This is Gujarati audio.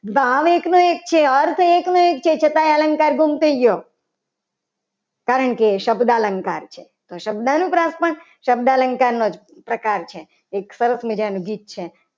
ભાવ એકનો એક છે. અર્થ એકનો એક છે. છતાં અલંકાર ગુમ થઈ ગયો. કારણ કે એ શબ્દ અલંકાર છે. આ શબ્દાનુપ્રાસ માં પણ શબ્દ અનુપ્રાસ પ્રકાર છે. એક સરસ મજાનું ગીત છે.